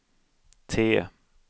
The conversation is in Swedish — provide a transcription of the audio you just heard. T